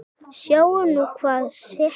Sjáum nú hvað setur.